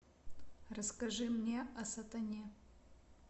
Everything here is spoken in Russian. расскажи мне о сатане